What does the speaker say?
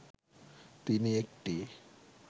তিনি একটি